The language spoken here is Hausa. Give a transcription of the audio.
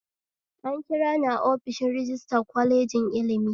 An kirani a ofishin rajistira kwalejin ilimi